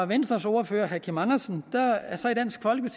venstres ordfører herre kim andersen